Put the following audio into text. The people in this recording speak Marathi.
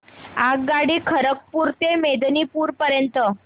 आगगाडी खरगपुर ते मेदिनीपुर पर्यंत